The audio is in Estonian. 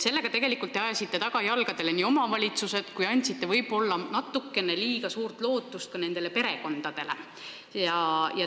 Sellega te ajasite tegelikult tagajalgadele omavalitsused ja andsite võib-olla natukene liiga suurt lootust ka hooldatavate perekondadele.